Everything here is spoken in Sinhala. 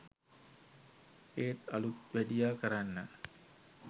ඒත් අලූත් වැඩියා කරන්න